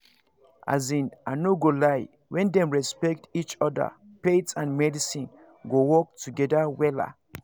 as in i no go lie when dem respect each other faith and medicine go work together wella